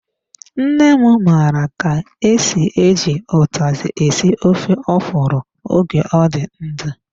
Nne m mara ka-esi, eji utazi esi ofe ọkwụrụ oge ọ dị ndụ.